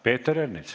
Peeter Ernits.